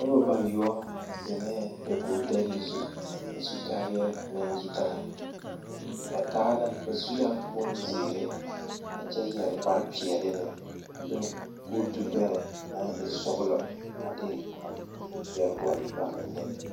Noba bayoɔ zeŋɛɛ dakogidɛle zu a su kaayɛɛ naŋ yitaa ba taa la ba su la bonzeere a Kyɛ yɛre kparepeɛle meŋ a de kootubɛrɛ naŋ e sɔglɔ a de yɛre gɔle ba menne.